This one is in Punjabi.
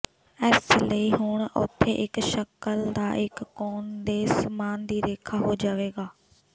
ਇਸ ਲਈ ਹੁਣ ਉੱਥੇ ਇੱਕ ਸ਼ਕਲ ਦਾ ਇੱਕ ਕੋਨ ਦੇ ਸਮਾਨ ਦੀ ਰੇਖਾ ਹੋ ਜਾਵੇਗਾ